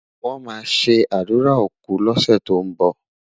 wón má sé ádùrá òkú lose tó n bó